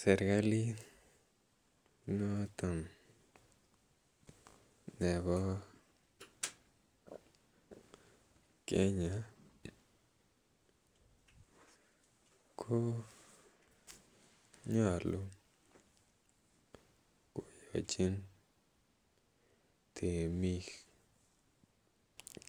Serikalit noton nebo Kenya ko nyolu koyachin temik